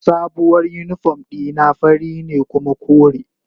Sabuwar uniform dina fari ne kuma kore.